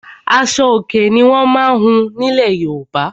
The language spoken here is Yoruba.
Aṣo-Òkè ni wọ́n má ń hun ní ilẹ̀ Yorùbá.